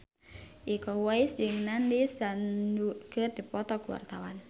Iko Uwais jeung Nandish Sandhu keur dipoto ku wartawan